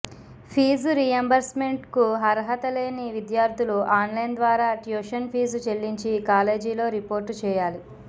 fee రీయింబర్స్మెంట్కు అర్హత లేని విద్యార్థులు ఆన్లైన్ ద్వారా ట్యూషన్ ఫీజు చెల్లించి కాలేజీలో రిపోర్టు చేయాలి